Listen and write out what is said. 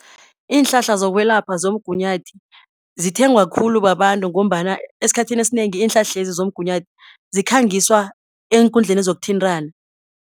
Iinhlahla zokwelapha zomgunyathi zithengwa khulu babantu ngombana esikhathini esinengi iinhlahlezi zomgunyathi, zikhangiswa eenkundleni zokuthintana.